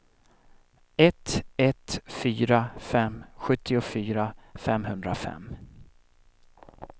ett ett fyra fem sjuttiofyra femhundrafem